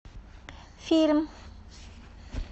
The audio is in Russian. фильм